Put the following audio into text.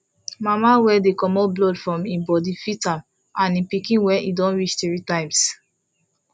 mama wey dey comot blood from him body fit am and him pikin when e don reach three times